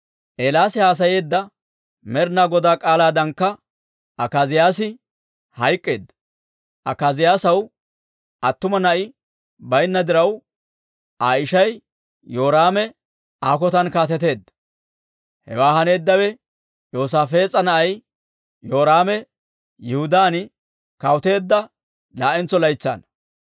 Eelaasi haasayeedda Med'ina Goda k'aalaadankka Akaaziyaasi hayk'k'eedda; Akaaziyaasaw attuma na'i baynna diraw, Aa ishay Yoraame Aa kotan kaateteedda; hewe haneeddawe Yoosaafees'a na'ay Yoraame Yihudaan kawuteedda laa'entso laytsaana.